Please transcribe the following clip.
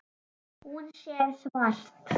Hún sér svart.